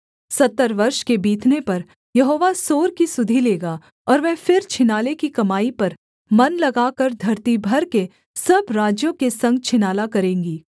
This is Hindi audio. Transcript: सत्तर वर्ष के बीतने पर यहोवा सोर की सुधि लेगा और वह फिर छिनाले की कमाई पर मन लगाकर धरती भर के सब राज्यों के संग छिनाला करेंगी